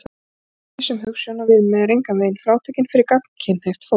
Gagnkvæmni sem hugsjón og viðmið er engan veginn frátekin fyrir gagnkynhneigt fólk.